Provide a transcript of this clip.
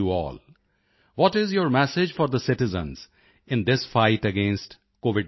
what is your message for the citizens in this fight against COVID19